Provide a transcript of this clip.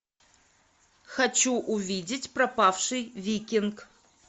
хочу увидеть пропавший викинг